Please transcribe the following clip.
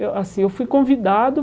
Eu assim eu fui convidado.